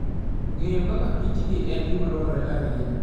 Ng'eyo kaka kich gi en gima dwarore ahinya.